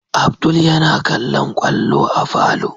Abdul yana kallon kwallo a falo